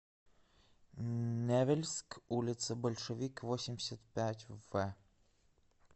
невельск улица большевик восемьдесят пять в